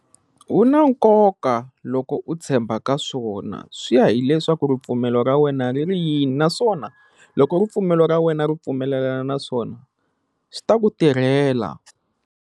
U na nkoka loko u tshemba ka swona swi ya hileswaku ripfumelo ra wena ri ri yini naswona loko ripfumelo ra wena ri pfumelelana naswona swi ta ku tirhela.